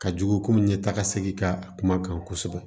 Ka jugu komi ɲɛtaga sigi ka a kuma kan kosɛbɛ